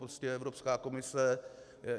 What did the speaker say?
Prostě Evropská komise.